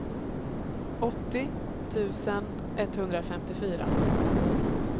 åttio tusen etthundrafemtiofyra